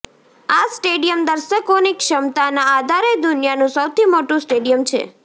આ સ્ટેડિયમ દર્શકોની ક્ષમતાના આધારે દુનિયાનું સૌથી મોટું સ્ડેડિયમ છે